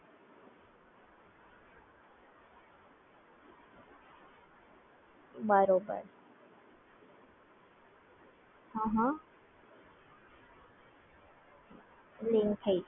બરાબર સેફટી જળવાઈ રહે